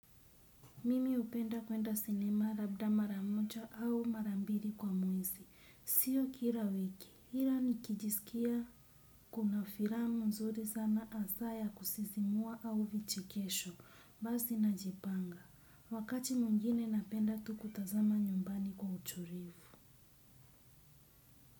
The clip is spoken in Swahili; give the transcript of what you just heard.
Mimi hupenda kuenda sinema labda mara moja au mara mbili kwa mwezi. Sio kila wiki. Ila nikijisikia kuna filamu nzuri sana hasa ya kusisimua au vichekesho. Basi najipanga. Wakati mwingine napenda tu kutazama nyumbani kwa utulivu.